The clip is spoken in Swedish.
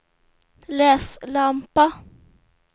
läslampa